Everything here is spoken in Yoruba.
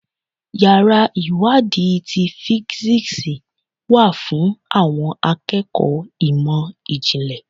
Yàrá ìwádìí ti físíksì wà fún àwọn akẹ́kọ̀ọ́ ìmọ̀ ìjìnlẹ̀.